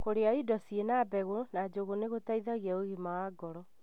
Kũrĩa indo cĩina mbegũ na njũgu nĩ gũtethagia ũgima wa ngoro.